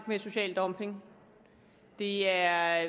med social dumping det er